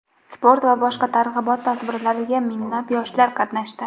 sport va boshqa targ‘ibot tadbirlarida minglab yoshlar qatnashdi.